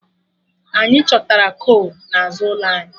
Anyị chọtara kol n'azụ ụlọ anyị